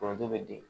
Foronto bɛ di